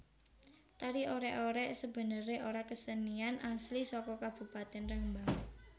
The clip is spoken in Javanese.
Tari Orèk orèk sebenerè ora kesenian asli saka Kabupatèn Rembang